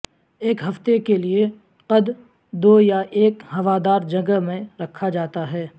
ایک ہفتے کے لیے قددو یہ ایک ہوادار جگہ میں رکھا جاتا ہے